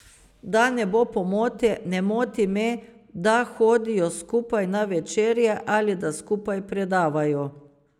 Da ne bo pomote, ne moti me, da hodijo skupaj na večerje ali da skupaj predavajo.